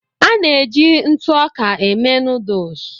A na-eji ntụ ọka eme nuduls.